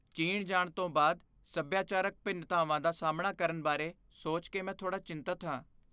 ਚੀਨ ਜਾਣ ਤੋਂ ਬਾਅਦ ਸੱਭਿਆਚਾਰਕ ਭਿੰਨਤਾਵਾਂ ਦਾ ਸਾਹਮਣਾ ਕਰਨ ਬਾਰੇ ਸੋਚ ਕੇ ਮੈਂ ਥੋੜ੍ਹਾ ਚਿੰਤਤ ਹਾਂ।